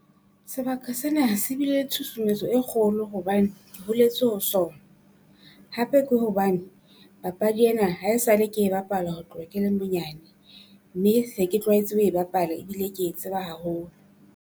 Sebaka sena se bile le tshusumetso e kgolo hobane ke holetse ho sona. Hape ke hobane papadi ena ha e sa le ke e bapala ho tloha ke le monyane mme se ke tlwaetse ho e bapala ebile ke e tseba haholo.